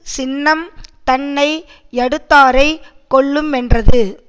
சின்னம் தன்னை யடுத்தாரைக் கொல்லு மென்றது